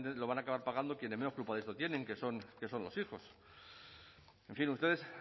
lo van a acabar pagando quienes menos culpa de eso tienen que son los hijos en fin ustedes